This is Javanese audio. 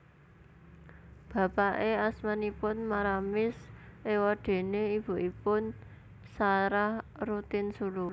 Bapake asmanipun Maramis ewadene ibunipun Sarah Rotinsulu